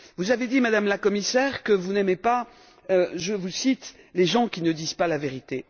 Vous avez dit, Madame la Commissaire, que vous n'aimez pas je vous cite les gens qui ne disent pas la vérité.